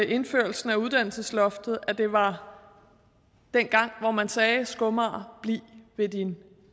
indførelsen af uddannelsesloftet at det var dengang hvor man sagde skomager bliv ved din